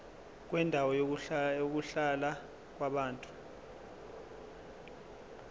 kwendawo yokuhlala yabantu